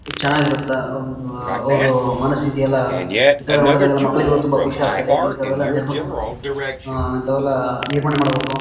ಚೆನ್ನಾಗಿರುತ್ತ ಒಂದು ಅವ್ರು ಮನಸ್ಥಿತಿ ಎಲ್ಲ ಇತರ ನೋಡಿದಾಗ ಎಲ್ಲ ಮಕ್ಕಳಿಗೆ ತುಂಬಾ ಖುಷಿ ಆಗ್ತದೆ. ಇಂಥವೆಲ್ಲ ನಿರ್ಮಿಸ್ ಇಂಥವೆಲ್ಲ ನಿರ್ಮಾಣ ಮಾಡಬೇಕು.